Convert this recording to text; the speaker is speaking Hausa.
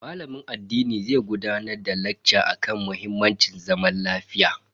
Malamin addinin zai gudanar da lacca akan muhimmancin zaman lafiya.